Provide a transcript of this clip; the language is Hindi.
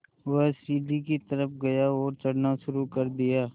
वह सीढ़ी की तरफ़ गया और चढ़ना शुरू कर दिया